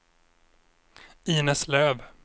Inez Löf